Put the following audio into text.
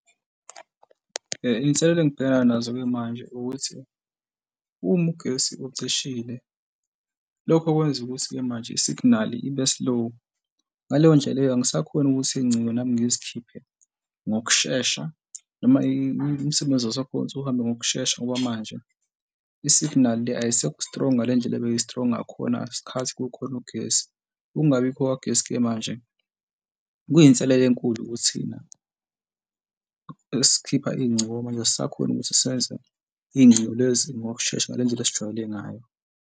Iy'nselelo engibhekana nazo-ke manje ukuthi uma ugesi ucishile. Lokho kwenza ukuthi-ke manje i-signal ibe slow. Ngaleyo ndlela leyo angisakhoni ukuthi iy'ngcingo nami ngizikhiphe ngokushesha noma imisebenzi wakhona ukuthi uhambe ngokushesha ngoba manje i-signal le ayisekho strong ngale ndlela ebeyi-strong, ngakhona ngesikhathi kukhona ugesi. Ukungabikhona kwagesi-ke manje kuyinselelo enkulu kuthina esikhipha iy'ngcingo ngoba manje asisakhoni ukuthi senze iy'ngcingo lezi ngokushesha ngale ndlela esijwayele ngayo.